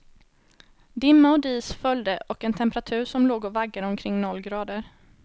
Dimma och dis följde och en temperatur som låg och vaggade omkring noll grader.